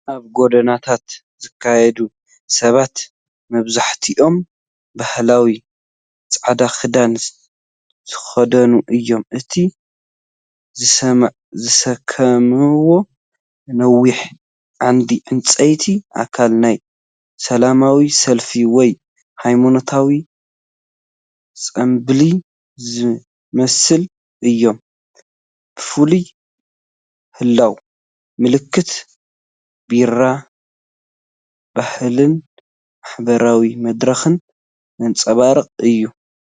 ኣብ ጎደናታት ዝካየድ ሰባት መብዛሕትኦም ባህላዊ ጻዕዳ ክዳን ዝኽደኑ እዮም። እቲ ዝስከምዎ ነዊሕ ዓንዲ ዕንጨይቲ ኣካል ናይ ሰላማዊ ሰልፊ ወይ ሃይማኖታዊ ጽምብል ዝመስሉ እዮም። ብፍላይ ህላወ ምልክት " ቢራ" ባህልን ማሕበራዊ መድረኽን ዘንጸባርቕ እዩ።